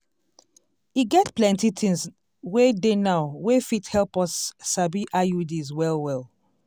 e get plenty things wey dey now wey fit help us sabi iuds well well.